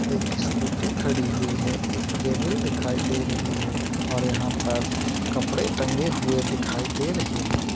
एक स्कूटी खड़ी हुई है। एक केबेल दिखाई दे रही है और यहा पर कपड़े टंगे हुए दिखाई दे रहे है।